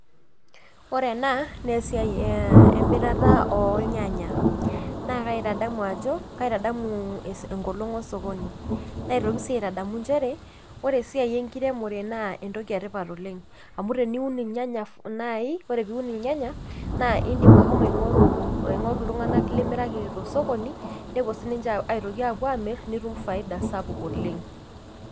Ore ena na esiai emirata ornyanya naa kaitaamu ajo, kaitadamu enkolong osokoni , naitoki sii atadamu nchere ore esiai enkiremore naa entoki etipat oleng ,amu teniun irnyanya nai naa indim ashomo aingoru , aingoru iltunganak limiraki tosokonin nepuo sininche aitoki amir nitum faida sapuk oleng.